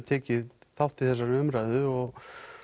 tekið þátt í þessari umræðu og